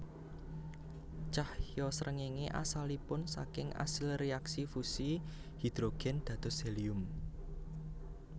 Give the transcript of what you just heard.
Cahya srengéngé asalipun saking asil réaksi fusi hidrogen dados helium